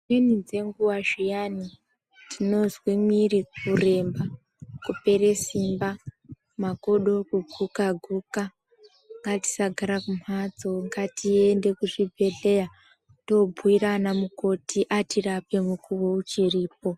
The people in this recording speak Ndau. Dzimweni dzenguwa zviyani tinozwa miri kuremba kupera Simba makodo kuguka guka ngatisagare kumbatso ngatiende kuzvibhedhlera tobhuita ana mukoti atirape mukuwo ichiripo.